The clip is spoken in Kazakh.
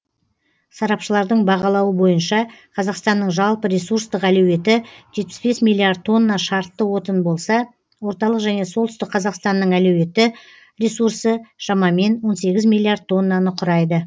сарапшылардың бағалауы бойынша қазақстанның жалпы ресурстық әлеуеті жетпіс бес миллиард тонна шартты отын болса орталық және солтүстік қазақстанның әлеуеті ресурсы шамамен он сегіз миллиард тоннаны құрайды